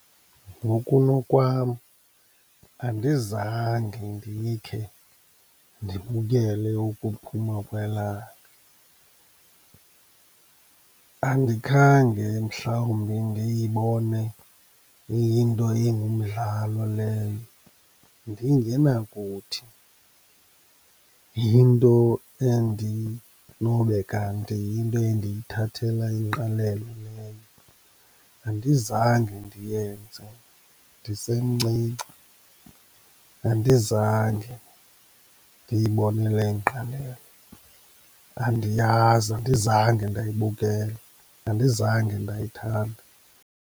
Ngokunokwam andizange ndikhe ndibukele ukuphuma kwelanga, andikhange mhlawumbi ndiyibone iyinto engumdlalo leyo, ndingenakuthi yinto endinobe kanti yinto endiyithathela ingqalelo leyo. Andizange ndiyenze ndisemncinci, andizange ndiyibonele ngqalelo. Andiyazi, andizange ndayibukela, andizange ndayithanda.